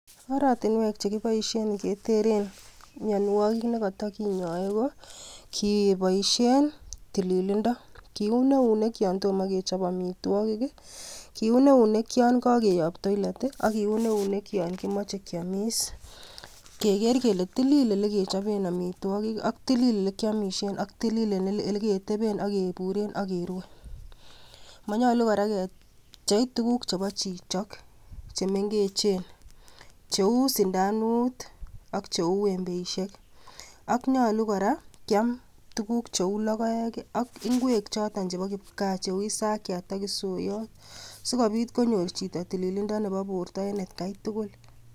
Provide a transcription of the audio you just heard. oratinwek chekiboisien keteren mionwogik nekotokinyoe ko kiboisien tililindo kiun eunek yon tomo kechop amitwogik ih, kiun eunek yon kakeyob toilet ih ak kiun eunek yon kimoche kiomis keker kele tilil elekechoben amitwogik ak tilil elekiomisien ak tilil eleketeben akeburen akerue. Monyolu kora kepchei tukuk chebo chito chemengechen cheu sindanut ak cheu embeisiek ak nyolu kora kiam tukuk cheu logoek ak ingwek choton chebo kipgaa cheu isakyat ak isoyot sikobit konyor chito tililindo nebo borto en atkai tugul